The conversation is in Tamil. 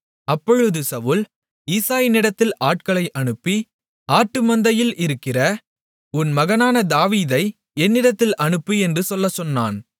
அப்பொழுது சவுல் ஈசாயினிடத்தில் ஆட்களை அனுப்பி ஆட்டு மந்தையில் இருக்கிற உன் மகனான தாவீதை என்னிடத்தில் அனுப்பு என்று சொல்லச் சொன்னான்